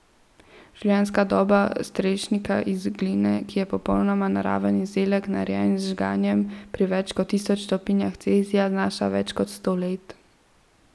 Življenjska doba strešnika iz gline, ki je popolnoma naraven izdelek, narejen z žganjem pri več kot tisoč stopinjah Celzija, znaša več kot sto let.